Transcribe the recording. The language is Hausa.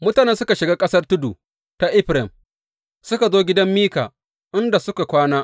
Mutanen suka shiga ƙasar tudu ta Efraim suka zo gidan Mika, inda suka kwana.